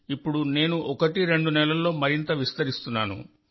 ఇప్పుడు నేను ఒకటి రెండు నెలల్లో మరింత విస్తరిస్తున్నాను